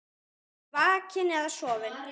Vakinn eða sofinn.